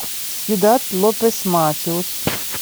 сьюдад лопес матеос